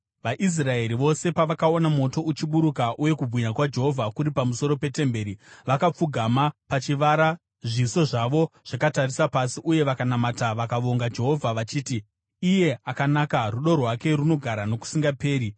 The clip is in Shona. VaIsraeri vose pavakaona moto uchiburuka uye kubwinya kwaJehovha kuri pamusoro petemberi, vakapfugama pachivara zviso zvavo zvakatarisa pasi, uye vakanamata vakavonga Jehovha vachiti: “Iye akanaka; rudo rwake runogara nokusingaperi.”